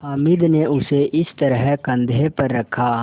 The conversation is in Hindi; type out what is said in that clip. हामिद ने उसे इस तरह कंधे पर रखा